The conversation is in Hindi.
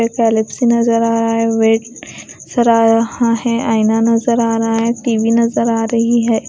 एक नजर आ रहा है वेट नजर आ रहा है आईना नजर आ रहा है टी_वी नजर आ रही है।